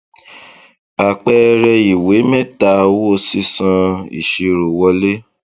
àpẹẹrẹ ìwé méta owó sísan ìṣirò wọlé